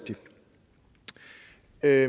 er